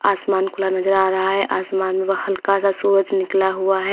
आसमान खुला नजर आ रहा है आसमान में वह हल्का सा सूरज निकला हुआ है।